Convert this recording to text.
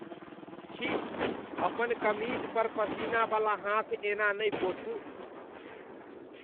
छी। अपन कमीज पर पसीना बला हाथ एना नहि पोछू।